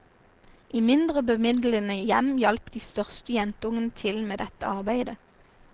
I mindre bemidlede hjem hjalp de største jentungene til med dette arbeidet.